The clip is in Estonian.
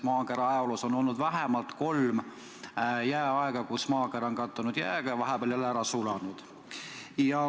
Maakera ajaloos on olnud vähemalt kolm jääaega, kui maakera on kattunud jääga ja vahepeal jälle üles sulanud.